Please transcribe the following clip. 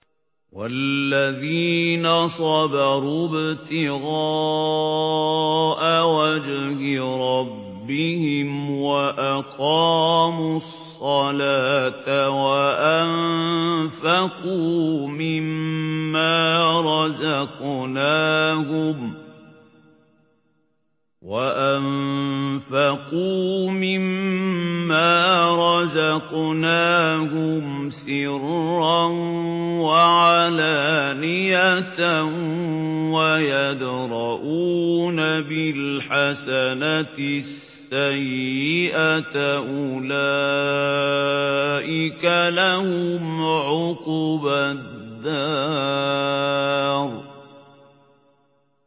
وَالَّذِينَ صَبَرُوا ابْتِغَاءَ وَجْهِ رَبِّهِمْ وَأَقَامُوا الصَّلَاةَ وَأَنفَقُوا مِمَّا رَزَقْنَاهُمْ سِرًّا وَعَلَانِيَةً وَيَدْرَءُونَ بِالْحَسَنَةِ السَّيِّئَةَ أُولَٰئِكَ لَهُمْ عُقْبَى الدَّارِ